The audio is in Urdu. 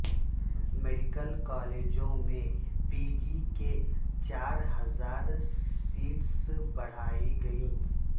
میڈیکل کالجوں میں پی جی کی چار ہزارسیٹیں بڑھائی گئیں